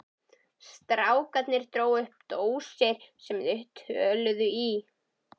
Strákarnir drógu upp dósir sem þeir töluðu í.